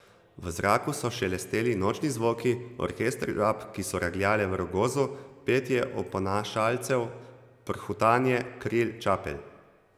V zraku so šelesteli nočni zvoki, orkester žab, ki so regljale v rogozu, petje oponašalcev, prhutanje kril čapelj.